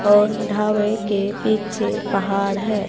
और ढाबे के पीछे पहाड़ है।